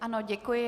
Ano, děkuji.